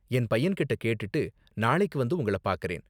என் பையன்கிட்ட கேட்டுட்டு நாளைக்கு வந்து உங்கள பாக்கறேன்.